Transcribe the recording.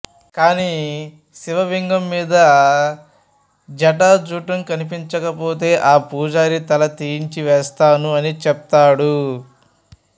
కాని శివవింగం మీద జాటాజుటం కనిపించకపోతే ఆ పుజారి తల తీయించి వేస్తాను అని చెప్తాడు